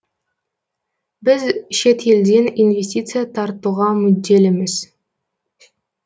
біз шет елден инвестиция тартуға мүдделіміз